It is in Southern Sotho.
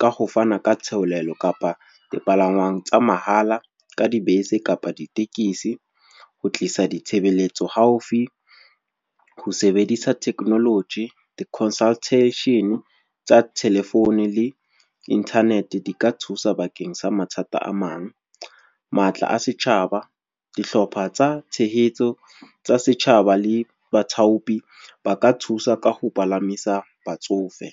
ka ho fana ka theolelo kapa dipalangwang tsa mahala ka dibese kapa ditekesi. Ho tlisa ditshebeletso haufi, ho sebedisa technology, di-consultation tsa telephone le internet di ka thusa bakeng sa mathata a mang. Matla a setjhaba, dihlopha tsa tshehetso tsa setjhaba le baithaupi, ba ka thusa ka ho palamisa batsofe.